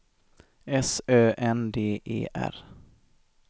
S Ö N D E R